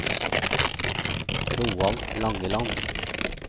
Roald Langeland